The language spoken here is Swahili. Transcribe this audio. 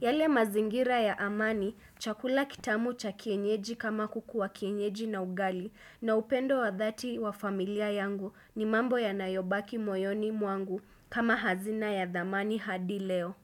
Yale mazingira ya amani chakula kitamu cha kienyeji kama kukua kienyeji na ugali na upendo wa dhati wa familia yangu ni mambo yanayobaki moyoni mwangu kama hazina ya thamani hadi leo.